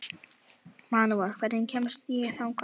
Manuel, hvernig kemst ég þangað?